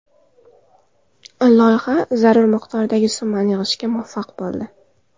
Loyiha zarur miqdordagi summani yig‘ishga muvaffaq bo‘ldi.